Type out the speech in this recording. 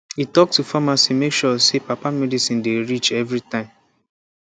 e talk to pharmacy make sure say papa medicine dey reach every time